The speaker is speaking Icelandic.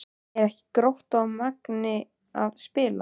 Eru ekki Grótta og Magni að spila?